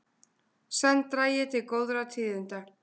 Senn dragi til góðra tíðinda